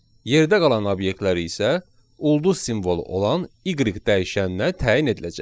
Yerdə qalan obyektlər isə ulduz simvolu olan y dəyişəninə təyin ediləcək.